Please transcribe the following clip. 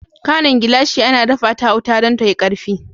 Kwanon glashi ana dafa ta a wuta don tayi karfe.